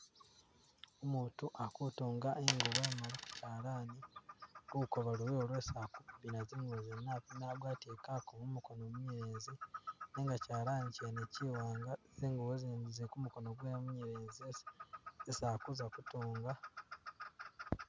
Umutu akutunga ingubo emali ku kyalani, lukoba luliwo lwesi akupimira zingubo zene, apima agwatile kukubo mumukono munyelezi nenga kyalani kyene Kyi wanga, zingubo zindi zili kumukono gwe we munyelezi esi esi akuza kutunga